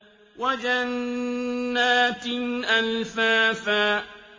وَجَنَّاتٍ أَلْفَافًا